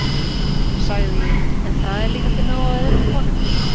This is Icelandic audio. sagði ég, en það er líka til nóg af öðrum konum